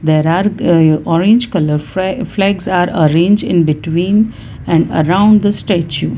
there are uh orange colour fla flags are arrange in between and around the statue.